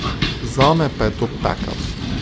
Zame pa je to pekel.